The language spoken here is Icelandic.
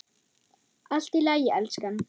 Allt í lagi, elskan.